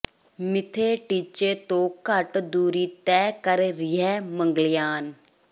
ਮਿੱਥੇ ਟੀਚੇ ਤੋਂ ਘੱਟ ਦੂਰੀ ਤੈਅ ਕਰ ਰਿਹੈ ਮੰਗਲਯਾਨ